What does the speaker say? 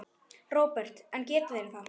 Róbert: En geta þeir það?